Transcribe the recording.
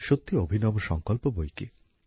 সত্যি অভিনব সংকল্প বৈকি